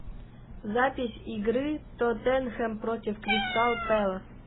запись игры тоттенхэм против кристал пэлас